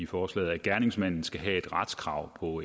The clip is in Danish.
forslaget at gerningsmanden skal have et retskrav på